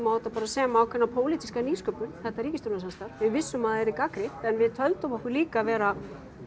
á þetta bara sem ákveðna pólitíska nýsköpun þetta ríkisstjórnarsamstarf við vissum að það yrði gagnrýnt en við töldum okkur líka vera